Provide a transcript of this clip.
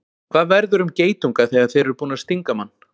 Hvað verður um geitunga þegar þeir eru búnir að stinga mann?